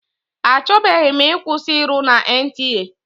A chọbeghị m ịkwụsị ịrụ na NTA.